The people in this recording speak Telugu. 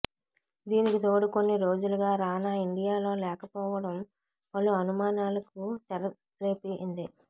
దీనికి తోడు కొన్ని రోజులుగా రానా ఇండియాలో లేకపోవడం పలు అనుమానాలకు తెరలేపింది